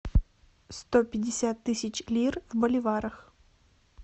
сто пятьдесят тысяч лир в боливарах